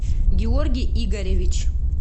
георгий игоревич